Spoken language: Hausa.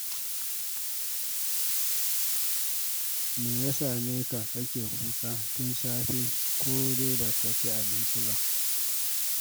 Me ya same ka? kake kuka tun safe ko dai ba ka ci abinci ba?